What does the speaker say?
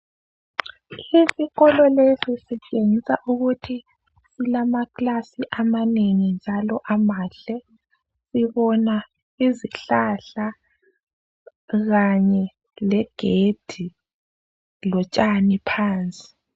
Isikolo lesi sitshengisa ukuthi silamakilasi amanengi njalo amahle sibona izihlahla kanye legedi lotshani phansi.